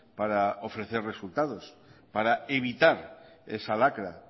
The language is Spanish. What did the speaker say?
para ofrecer resultados para evitar esa lacra